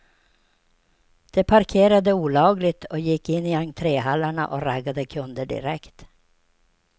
De parkerade olagligt och gick in i entrehallarna och raggade kunder direkt.